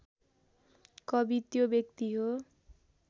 कवि त्यो व्यक्ति हो